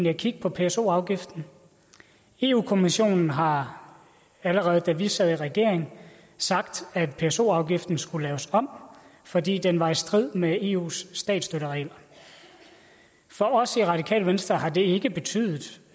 at kigge på pso afgiften europa kommissionen har allerede da vi sad i regering sagt at pso afgiften skulle laves om fordi den var i strid med eus statsstøtteregler for os i radikale venstre har det ikke betydet